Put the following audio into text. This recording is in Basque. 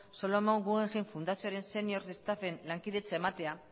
solomon guggenheim fundazioaren senior destapen lankidetza ematea